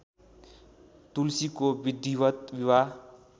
तुलसीको विधिवत् विवाह